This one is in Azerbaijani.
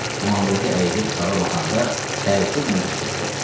İmamverdi əyilib uşağa baxanda təəccüblə qışqırdı.